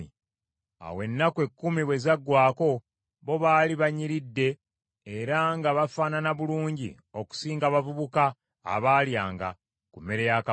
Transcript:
Awo ennaku ekkumi bwe zaggwaako, bo baali banyiridde era nga bafaanana bulungi okusinga abavubuka abaalyanga ku mmere ya kabaka.